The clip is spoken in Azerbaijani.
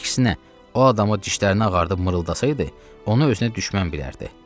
Əksinə, o adama dişlərini ağardib mırtılasaydı, onu özünə düşmən bilərdi.